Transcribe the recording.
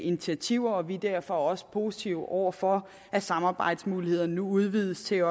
initiativer vi er derfor også positive over for at samarbejdsmulighederne nu udvides til at